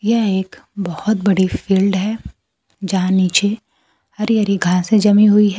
यह एक बोहोत बड़ी फील्ड है जहां नीचे हरी हरि घासे जमी हुई है।